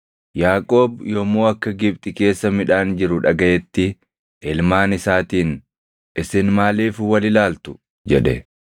Yaaqoob yommuu akka Gibxi keessa midhaan jiru dhagaʼetti, ilmaan isaatiin, “Isin maaliif wal ilaaltu?” jedhe.